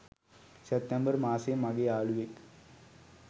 සෑප්තෑම්බර් මාසයෙ මගෙ යාලුවෙක්